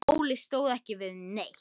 Óli stóð ekki við neitt.